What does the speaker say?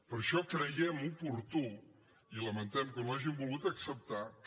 per això creiem oportú i lamentem que no ho hagin volgut acceptar que